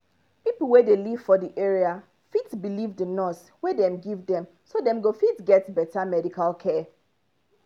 people wey dey live for the area fit believe the nurse wey dem give dem so dem go fit get better medical care